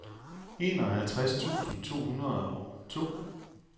enoghalvtreds tusind to hundrede og to